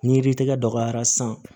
Ni yiri tigɛ dɔgɔyara san